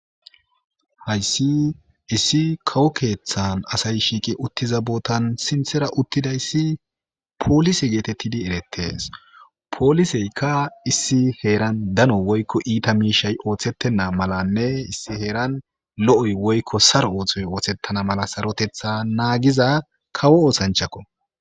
hayssi issi kawo keeththan asay shiiqi uttiza bootan sinthera uttidayssi poolise geetettidi erettes pooliseyka issi heeran dano woykko iita miishay ooththettenna malanne issi heeran lo7oy woykko sar ooththoy ooththettana mala sarotetha naagiza kawo oosanchakko